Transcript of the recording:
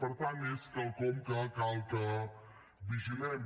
per tant és quelcom que cal que vigilem